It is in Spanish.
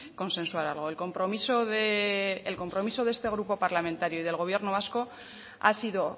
consensuar algo el compromiso de este grupo parlamentario y del gobierno vasco ha sido